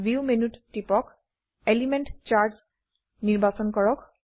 view মেনুত টিপক element charts নিৰ্বাচন কৰক